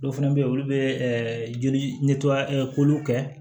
Dɔw fana bɛ yen olu bɛ joli kɛ